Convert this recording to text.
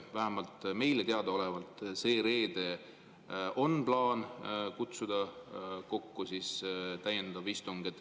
Vähemalt meile teadaolevalt on plaan sel reedel kokku kutsuda täiendav istung.